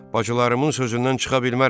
Bacılarımın sözündən çıxa bilmərəm.